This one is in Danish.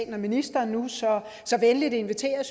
nu ministeren så så venligt inviterer